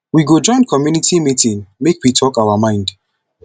we go join community meeting make we talk our mind